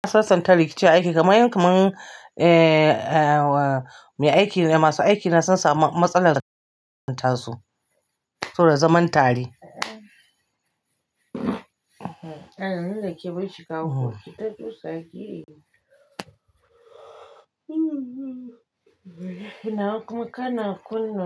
Sasanta rikici aiki kamar yadda kamar eh, ah mai aiki ne masu aiki na sun samu matsalar tasu kawai zaman tare. Eh nan da ke baki kawu, ita kusa kike. Kana kuma kana kunne.